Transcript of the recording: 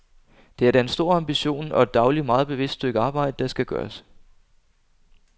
Det er da en stor ambition og et dagligt, meget bevidst stykke arbejde, der skal gøres.